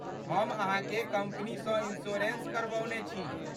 हम अहाँके कम्पनीसँ इंश्योरेंस करबौने छी।